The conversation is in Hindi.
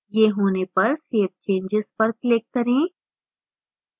यह होने पर save changes पर click करें